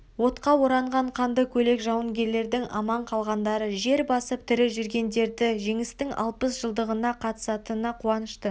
отқа оранған қанды көйлек жауынгерлердің аман қалғандары жер басып тірі жүргендерді жеңістің алпыс жылдығына қатысатына қуанышты